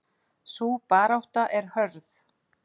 Sú barátta er hörð.